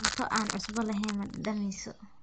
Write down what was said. Cunto aan cusbo lahayn ma dhadhamiso.